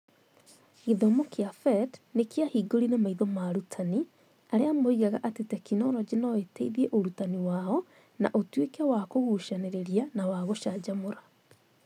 Gĩthomo kĩa PhET nĩ kwahingũrire maitho ma arutani, arĩa moigaga atĩ tekinoronjĩ no ĩteithie ũrutani wao na ũtuĩke wa kũgucanĩrĩria na wa gũcanjamũra.